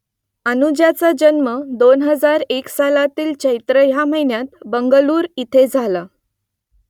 अनुजाचा जन्म दोन हजार एक सालातील चैत्र ह्या महिन्यात बंगळूर इथे झाला